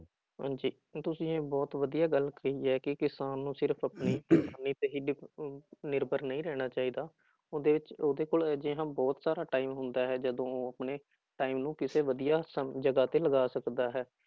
ਹਾਂਜੀ, ਤੁਸੀਂ ਇਹ ਬਹੁਤ ਵਧੀਆ ਗੱਲ ਕਹੀ ਹੈ ਕਿ ਕਿਸਾਨ ਨੂੰ ਸਿਰਫ਼ ਆਪਣੀ ਕਿਸਾਨੀ ਤੇ ਹੀ ਡਿਪ ਅਹ ਨਿਰਭਰ ਨਹੀਂ ਰਹਿਣਾ ਚਾਹੀਦਾ, ਉਹਦੇ ਵਿੱਚ ਉਹਦੇ ਕੋਲ ਅਜਿਹਾ ਬਹੁਤ ਸਾਰਾ time ਹੁੰਦਾ ਹੈ ਜਦੋਂ ਉਹ ਆਪਣੇ time ਨੂੰ ਕਿਸੇ ਵਧੀਆ ਸਮ ਜਗ੍ਹਾ ਤੇ ਲਗਾ ਸਕਦਾ ਹੈ।